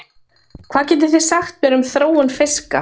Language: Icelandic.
Hvað getið þið sagt mér um þróun fiska?